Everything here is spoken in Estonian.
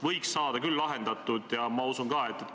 Ma siiski tulen tagasi selle juurde, et küsin näiteid.